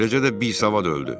Eləcə də bisavad öldü.